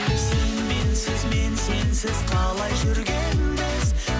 сен менсіз мен сенсіз қалай жүргенбіз